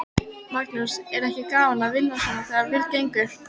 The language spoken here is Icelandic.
Magnús: Er ekki gaman að vinna svona þegar vel gengur?